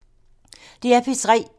DR P3